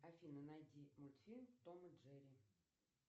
афина найди мультфильм том и джерри